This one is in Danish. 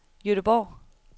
Gøteborg